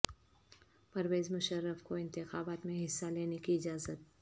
پرویز مشرف کو انتخابات میں حصہ لینے کی اجازت